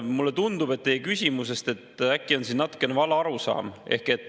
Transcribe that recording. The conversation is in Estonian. Mulle tundub teie küsimusest, et äkki on siin natuke vale arusaam.